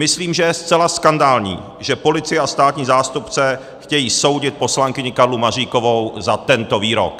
Myslím, že je zcela skandální, že policie a státní zástupce chtějí soudit poslankyni Karlu Maříkovou za tento výrok.